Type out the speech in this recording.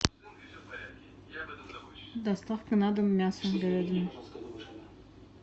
доставка на дом мясо говядины